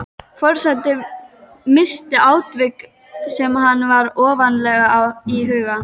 Forseti minnist á atvik sem er henni ofarlega í huga.